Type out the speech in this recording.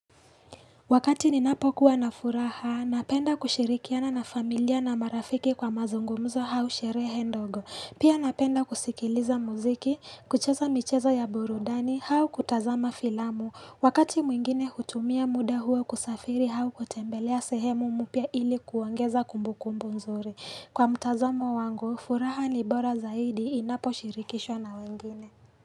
Wakati ninapokuwa na furaha, napenda kushirikiana na familia na marafiki kwa mazungumzo au sherehe ndogo. Pia napenda kusikiliza muziki, kucheza michezo ya burudani au kutazama filamu. Wakati mwingine hutumia muda huo kusafiri au kutembelea sehemu mpya ili kuongeza kumbukumbu nzuri. Kwa mtazamo wangu, furaha ni bora zaidi inaposhirikishwa na wengine.